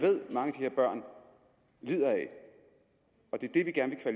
her børn lider af det er det vi gerne